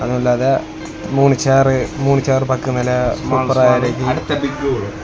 அதனுள்ளாக மூணு சேரு மூணு சேரு பக்கந்நில சூப்பரா இருக்கு.